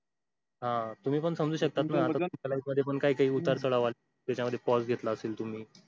हा तुम्ही पण समजू शकतात ना आता तुमच्या life मध्ये पण उत्तर चढाव आले. त्याच्यामध्ये pause घेतला असेल तुम्ही